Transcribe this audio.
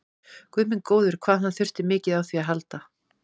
Guð minn góður, hvað hann þurfti mikið á því að halda!